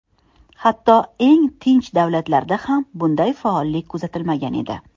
Hatto eng tinch davrlarda ham bunday faollik kuzatilmagan edi.